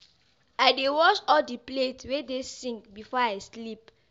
I dey wash all di plates wey dey sink before I sleep.